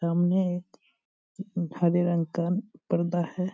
सामने एक हरे रंग का परदा है।